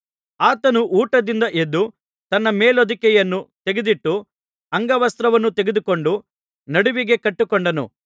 ಆತನು ಊಟದಿಂದ ಎದ್ದು ತನ್ನ ಮೇಲುಹೊದಿಕೆಯನ್ನು ತೆಗೆದಿಟ್ಟು ಅಂಗ ವಸ್ತ್ರವನ್ನು ತೆಗೆದುಕೊಂಡು ನಡುವಿಗೆ ಕಟ್ಟಿಕೊಂಡನು